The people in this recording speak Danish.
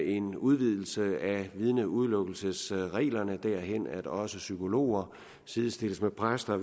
en udvidelse af vidneudelukkelsesreglerne derhen at også psykologer sidestilles med præster